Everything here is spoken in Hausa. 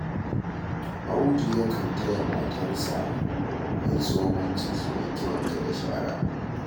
Audu yakan taya matarsa mai tsohon ciki wanke-wanke da shara